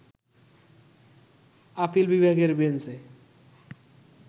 appeal বিভাগের বেঞ্চে